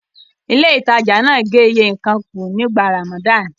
Ilé-ìtajà náà gé iye nǹkan kù nígbà Ramadan.